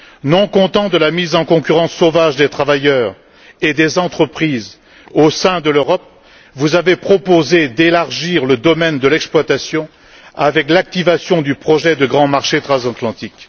Non content de la mise en concurrence sauvage des travailleurs et des entreprises au sein de l'Europe, vous avez proposé d'élargir le domaine de l'exploitation avec l'activation du projet de grand marché transatlantique.